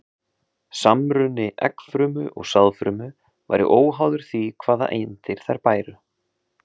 Samruni eggfrumu og sáðfrumu væri óháður því hvaða eindir þær bæru.